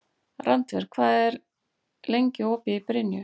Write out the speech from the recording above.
Randver, hvað er lengi opið í Brynju?